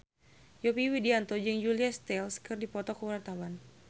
Yovie Widianto jeung Julia Stiles keur dipoto ku wartawan